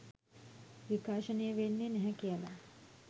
විකාශනය වෙන්නේ නැහැ කියලා